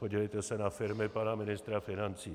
Podívejte se na firmy pana ministra financí.